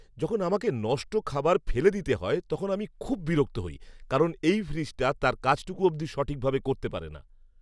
যখন আমাকে নষ্ট খাবার ফেলে দিতে হয় তখন আমি খুব বিরক্ত হই কারণ এই ফ্রিজটা তার কাজটুকু অবধি সঠিকভাবে করতে পারে না!